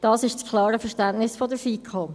Dies ist das klare Verständnis der FiKo.